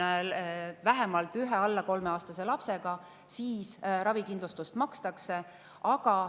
Kui on vähemalt üks alla kolmeaastane laps, siis ravikindlustus makstakse.